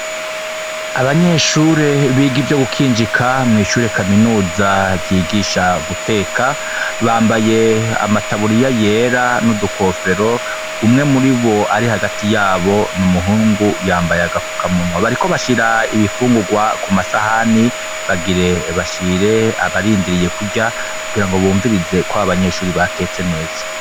Abanyeshure biga ivyo gukinjika mw'ishure kaminuza ryigisha guteka, bambaye amataburiya yera n'udukofero umwe muri bo ari hagati yabo n'umuhungu yambaye agapfuka munwa, bariko bashira ibifungurwa ku masahani bagire bashire abarie ndiriye kurya kugira ngo bumvirize ko a banyeshuri batetse neza.